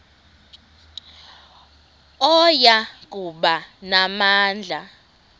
oya kuba namandla